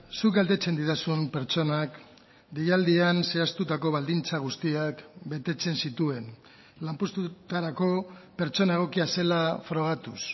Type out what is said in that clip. zuk galdetzen didazun pertsonak deialdian zehaztutako baldintza guztiak betetzen zituen lanpostutarako pertsona egokia zela frogatuz